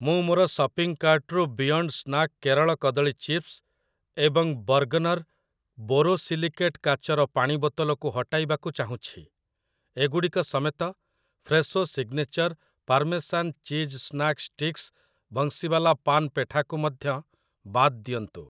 ମୁଁ ମୋର ସପିଂ କାର୍ଟ୍‌ରୁ ବିୟଣ୍ଡ ସ୍ନାକ କେରଳ କଦଳୀ ଚିପ୍ସ ଏବଂ ବର୍ଗ୍‌ନର୍ ବୋରୋସିଲିକେଟ୍ କାଚର ପାଣି ବୋତଲ କୁ ହଟାଇବାକୁ ଚାହୁଁଛି । ଏଗୁଡ଼ିକ ସମେତ, Fresho signature parmesan cheese snack sticks, Banshiwala paan petha କୁ ମଧ୍ୟ ବାଦ୍ ଦିଅନ୍ତୁ ।